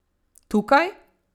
Tukaj?